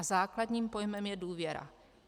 A základním pojmem je důvěra.